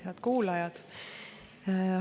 Head kuulajad!